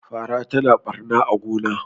fara tana barna a gona